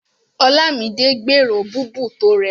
Olámidé gbèrò búbù tó rẹwà.